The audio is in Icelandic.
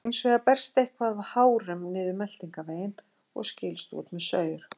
Hins vegar berst eitthvað af hárum niður meltingarveginn og skilst út með saur.